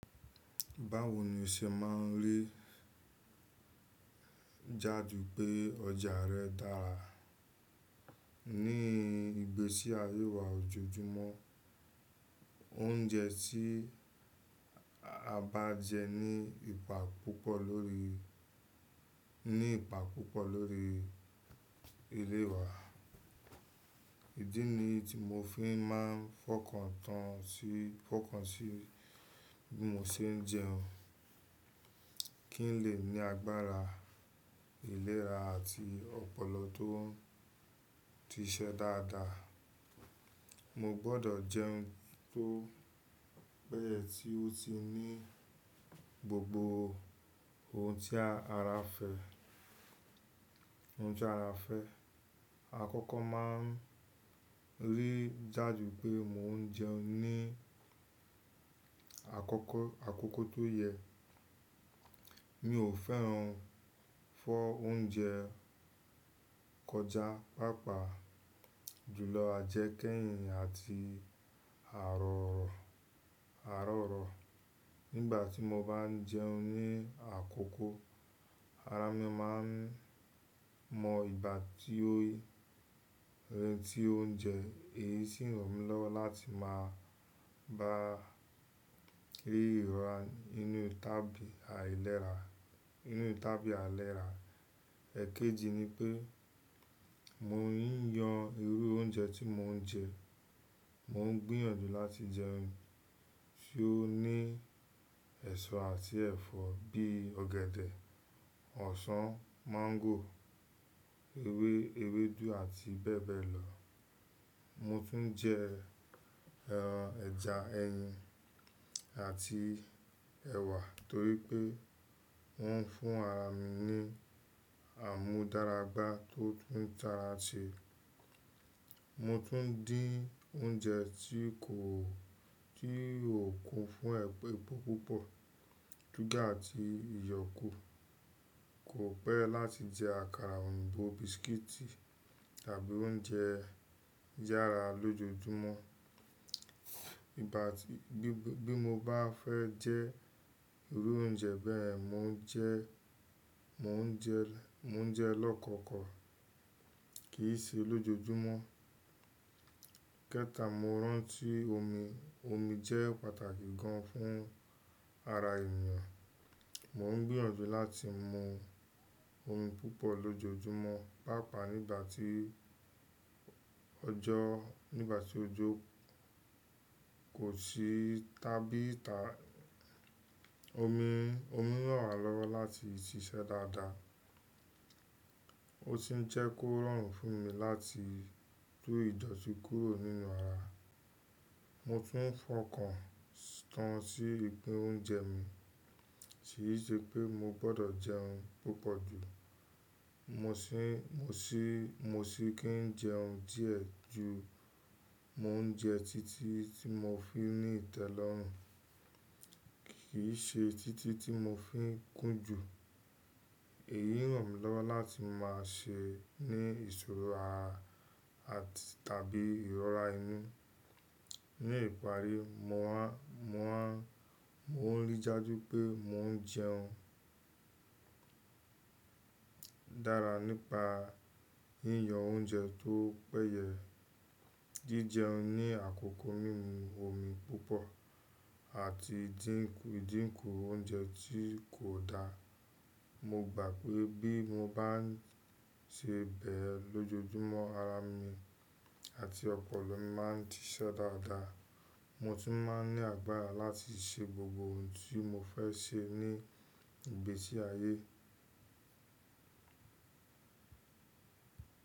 Báwo ni o ṣe máa ń rí i jáde pé ọjà rẹ dára? Ní ìgbésí ayé wa ojoojúmọ́, oúnjẹ tí a bá jẹ ní ipa púpọ̀ lórí, ní ipa púpọ̀ lórí ilé wa. Ìdí nì tí mo fi máa ń fọkàn tán sí, fọkàn sí bí mo ṣe ń jẹun. Kí n lè ní agbára, ìlera àti ọpọlọ tó ti ṣẹ́ dáadáa, mo gbọ́dọ̀ jẹun tó péye tí ó ti ní gbogbo ohun tí ara fẹ́, ohun tí ara fẹ́. Àkọ́kọ́ máa ń rí i jáde pé mò ń jẹun ní àkọ́kọ́, àkókò tó yẹ. Mi ò fẹ́ràn fọ́ oúnjẹ kọjá, pàápàá jùlọ àjẹkẹ́yìn àti àárọ̀ọ̀, àárọ̀ọ̀. Nígbà tí mo bá ń jẹun ní àkókò, ara mi máa ń mọ ìgbà tí ó, tí oúnjẹ èyí sì ràn mí lọ́wọ́ láti máa bá rí ìrọ́rùn nínú tàbí àìlera, nínú tàbí àìlera. Ẹ̀kẹjì ni pé mo ń yàn irú oúnjẹ tí mò ń jẹ. Mò ń gbìyànjú láti jẹun tí ó ní ẹ̀ṣọ́ àti ẹ̀fọ́ bí i ọ̀gẹ̀dẹ̀, ọsàn, máńgò, ewé, ewédú àti bẹ́ẹ̀ bẹ́ẹ̀ lọ. Mo tún ń jẹ, ẹ́, ẹja, ẹyin àti ẹwà torí pé wọ́n ń fún ara mi ní àmúdaràgbà tó tún tára ṣe. Mo tún ń dín oúnjẹ tí kò, tí ò kún fún ẹpọ̀ púpọ̀, súgà àti iyọ̀ kú. Kò pé láti jẹ àkàrà, òúnbo, bisikíìtì tàbí oúnjẹ yàrá lójoojúmọ́. Ìgbà tí, bí mo bá fẹ́ jẹ irú oúnjẹ bẹ́ẹ̀, mo ń jẹ, mo ń jẹ, mo ń jẹ lọ́kọ́kọ̀ kì í ṣe lójoojúmọ́. Kẹta, mo rántí omi. Omi jẹ́ pàtàkì gan fún ara ènìyàn. Mó ń gbìyànjú láti mu omi púpọ̀ lójoojúmọ́, pàápàá nígbà tí ọjọ́, nígbà tí ojú kò sí tàbí ìta. Omi, omi ràn wá lọ́wọ́ láti ṣiṣẹ́ dáadáa. Ó sì ń jẹ́ kó rọrùn fún mi láti tú ìdọ̀tí kúrò nínú ara. Mo tún ń fọkàn tán sí ipín oúnjẹ mi. Kì í ṣe pé mo gbọ́dọ̀ jẹun púpọ̀ jù, mo sì, mo sì, mo sì kí ń jẹun díẹ̀ ju mò ń jẹ títí tí mo fi ní ìtẹ́lọ́rùn, kì í ṣe títí tí mo fi kún jù. Èyí ràn mí lọ́wọ́ láti máa ṣe ní ìṣòro àà àti tàbí ìrọ́ra inú. Ní ìparí, mo á, mo á, mo ń rí i dájú pé mò ń jẹun dára nípa yíyan oúnjẹ tó péye, jíjẹun ní àkókò mímu omi púpọ̀ àti dínkù, dínkù oúnjẹ tí kò dáa. Mo gbà pé bí mo bá ń ṣe bẹ́ẹ̀ lójoojúmọ́, ara mi àti ọpọlọ mi máa ń díṣẹ́ dáadáa. Mo tún máa ń ní agbára láti ṣe gbogbo ohun tí mo fẹ́ ṣe ní ìgbésí ayé.